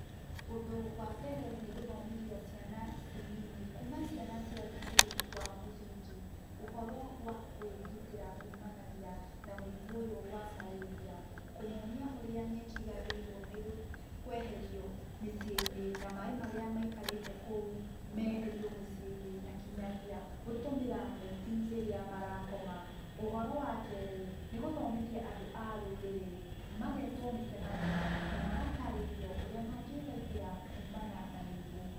Ũndũ wa mbere nĩ gũthomithia ciana ici nini kuma ciana cia thukuru wa mũthingi, ũhoro wa kũĩgitĩra kumanagia na mũrimũ ũyũ wa marĩria. Kũmonia ũrĩa nyeki yagĩrĩirũo nĩ kweherio mĩciĩ-inĩ, na maĩ marĩa maikarĩte kũu, meherio mĩciĩ-inĩ, na kĩnyagia gũtũmĩra neti rĩrĩa marakoma. Ũhoro wa kerĩ, nĩgũthomithia andũ a rũrĩrĩ, magetũo mĩcemanio na magatarĩrio ũrĩa mangĩthaitĩra kumana na mĩrimũ.